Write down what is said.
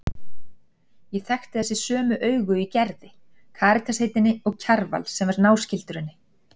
Ég þekkti þessi sömu augu í Gerði, Karitas heitinni og Kjarval, sem var náskyldur henni.